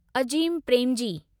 Azim Premji